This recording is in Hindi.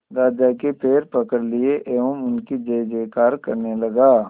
राजा के पैर पकड़ लिए एवं उनकी जय जयकार करने लगा